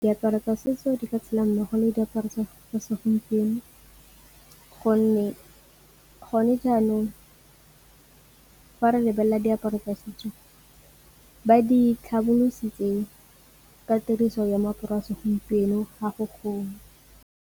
Diaparo tsa setso di ka tshela mmogo le diaparo tsa segompieno gonne gone jaanong fa re lebelela diaparo tsa setso, ba di tlhobolositse ka tiriso ya moaparo wa segompieno ga .